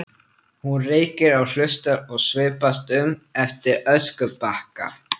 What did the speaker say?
Hún reykir og hlustar og svipast um eftir öskubakka.